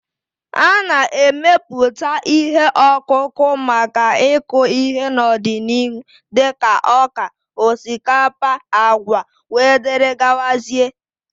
A na-emepụta ihe ọkụkụ maka ịkụ ihe n'ọdịnihu dịka ọka, osikapa, agwa wdg